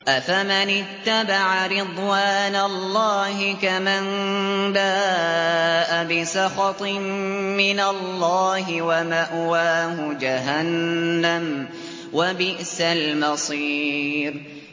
أَفَمَنِ اتَّبَعَ رِضْوَانَ اللَّهِ كَمَن بَاءَ بِسَخَطٍ مِّنَ اللَّهِ وَمَأْوَاهُ جَهَنَّمُ ۚ وَبِئْسَ الْمَصِيرُ